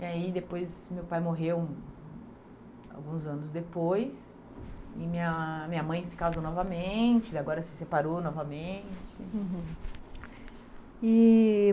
E aí, depois, meu pai morreu alguns anos depois, e minha minha mãe se casou novamente, ele agora se separou novamente. Uhum. E